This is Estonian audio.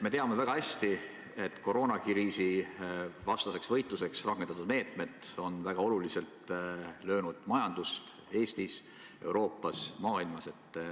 Me teame väga hästi, et koroonakriisivastaseks võitluseks rakendatud meetmed on väga oluliselt löönud majandust Eestis, Euroopas, kogu maailmas.